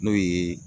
N'o ye